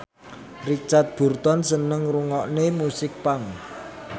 Richard Burton seneng ngrungokne musik punk